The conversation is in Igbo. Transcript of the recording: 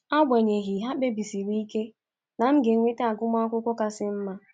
Agbanyeghi, ha kpebisiri ike na m ga-enweta agụmakwụkwọ kasị mma.